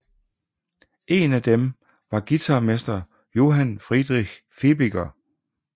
En af dem var guitarmester Johan Friedrich Fibiger